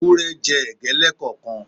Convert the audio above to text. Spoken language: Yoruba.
Ewúrẹ́ jẹ ẹ̀gbẹ́ lẹ́ẹ̀kọ̀kan.